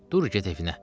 Dur get evinə.